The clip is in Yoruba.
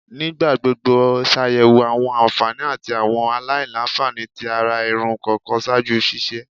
Nigbagbogbo ṣayẹwo awọn anfani ati awọn alailanfani ti ara irun kọọkan ṣaaju ṣiṣe